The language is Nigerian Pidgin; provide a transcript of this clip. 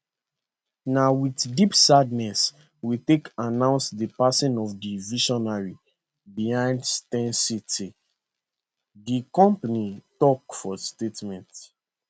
na wit deep sadness we take announce di passing of di visionary behind steyn city di company tok for statement